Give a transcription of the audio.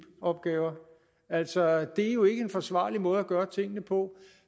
opgaver altså det er jo ikke en forsvarlig måde at gøre tingene på